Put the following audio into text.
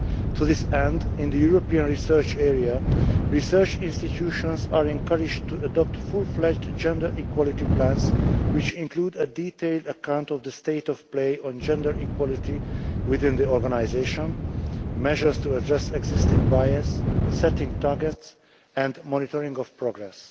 To this end, in the European Research Area, research institutions are encouraged to adopt fully-fledged gender equality plans which include a detailed account of the state of play on gender equality within the organisation, measures to address existing bias, setting targets and monitoring of progress.